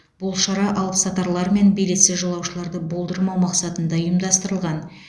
бұл шара алыпсатарлар мен билетсіз жолаушыларды болдырмау мақсатында ұйымдастырылған